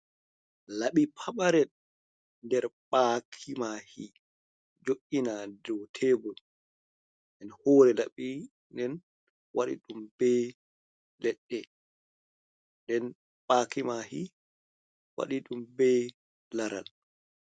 Laɓi pamarel nder ɓakimaki jo’ina dou tebol, en hore laɓi den waɗi ɗum be ledde, nden ɓakimaki waɗi ɗum bei laral.